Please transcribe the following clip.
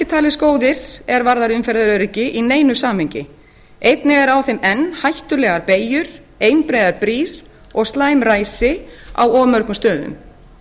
talist góðir er varðar umferðaröryggi í neinu samhengi einnig er á þeim enn hættulegar beygjur einbreiðar brýr og slæm ræsi á of mörgum stöðum